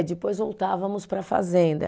Depois voltávamos para a fazenda.